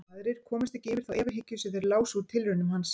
Aðrir komust ekki yfir þá efahyggju sem þeir lásu úr tilraunum hans.